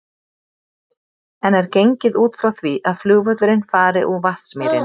En er gengið út frá því að flugvöllurinn fari úr Vatnsmýrinni?